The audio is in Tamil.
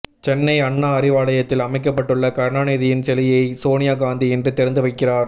சென்னை அண்ணா அறிவாலயத்தில் அமைக்கப்பட்டுள்ள கருணாநிதியின் சிலையை சோனியா காந்தி இன்று திறந்து வைக்கிறார்